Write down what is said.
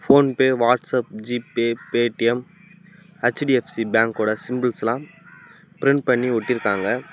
PhonePe WhatsApp G Pay Paytm HDFC பேங்கோட symbols எல்லா print பண்ணி ஒட்டிருக்காங்க.